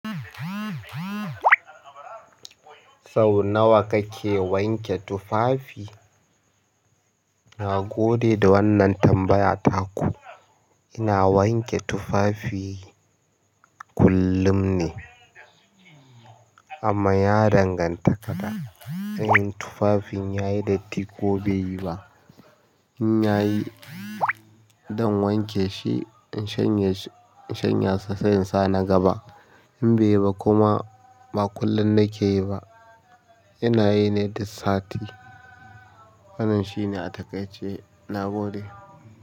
Sau nawa kake wanke tufafi? Na gode da wannan tambaya taku. Ina wanke tufafi kullum ne amma ya danganta fa da tufafin yayi datti ko baiyi ba in yayi, zan wanke shi in shanye, in shanyasa sai in sa na gaba. In bai yi ba kuma ba kullum nake yi ba, ina yi ne duk sati. Wannan shine a takaice. Na gode.